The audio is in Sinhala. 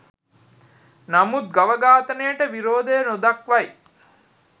නමුත් ගව ඝාතනයට විරෝධය නොදක්වයි.